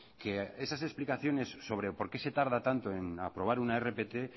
que esas explicaciones sobre por qué se tarda tanto en aprobar una rpt